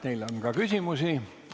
Teile on ka küsimusi.